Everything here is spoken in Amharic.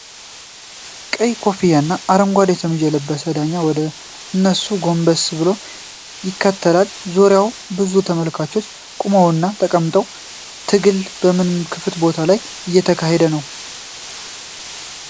ቀይ ኮፍያ እና አረንጓዴ ሸሚዝ የለበሰ ዳኛ ወደ እነሱ ጎንበስ ብሎ ይከታተላል። በዙሪያቸው ብዙ ተመልካቾች ቆመውና ተቀምጠዋል፤ ትግሉ በምን ክፍት ቦታ ላይ እየተካሄደ ነው?